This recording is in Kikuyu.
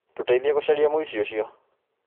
Tũteithie gũcaria mũici ũcio.